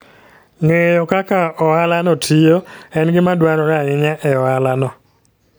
Ng'eyo kaka ohalano tiyo en gima dwarore ahinya e ohalano.